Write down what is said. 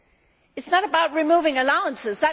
It is not about removing allowances